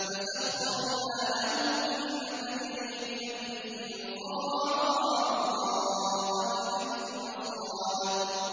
فَسَخَّرْنَا لَهُ الرِّيحَ تَجْرِي بِأَمْرِهِ رُخَاءً حَيْثُ أَصَابَ